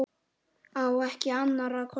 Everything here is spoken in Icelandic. Á ekki annarra kosta völ.